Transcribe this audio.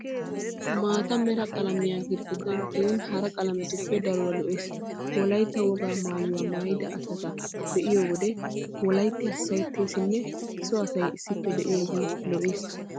Maata mera qalamee girigidday tiyin hara qalametuppe daruwa lo"ees. Wolayitta wogaa mayyuwa mayyida asati be'iyoodee wolayitti hassayettesinne so asay issippe diyoogee lo'ees.